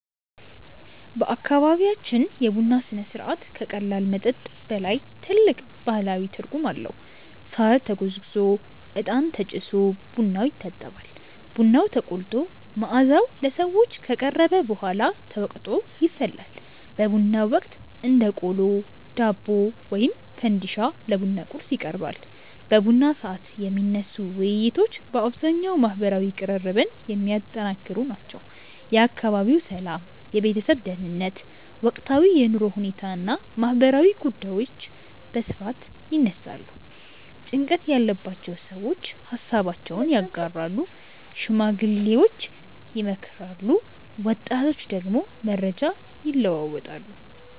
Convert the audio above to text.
በአካባቢያችን የቡና ሥነ ሥርዓት ከቀላል መጠጥ በላይ ጥልቅ ማህበራዊ ትርጉም አለው። ሳር ተጎዝጉዞ፣ እጣን ተጭሶ ቡናው ይታጠባል። ቡናው ተቆልቶ መዓዛው ለሰዎች ከቀረበ በኋላ ተወቅጦ ይፈላል። በቡናው ወቅት እንደ ቆሎ፣ ዳቦ ወይም ፈንዲሻ ለቡና ቁርስ ይቀርባል። በቡና ሰዓት የሚነሱ ውይይቶች በአብዛኛው ማህበራዊ ቅርርብን የሚያጠነክሩ ናቸው። የአካባቢው ሰላም፣ የቤተሰብ ደህንነት፣ ወቅታዊ የኑሮ ሁኔታ እና ማህበራዊ ጉዳዮች በስፋት ይነሳሉ። ጭንቀት ያለባቸው ሰዎች ሃሳባቸውን ያጋራሉ፣ ሽማግሌዎች ይመክራሉ፣ ወጣቶች ደግሞ መረጃ ይለዋወጣሉ።